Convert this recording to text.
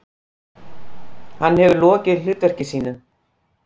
Hann hefur lokið hlutverki sínu.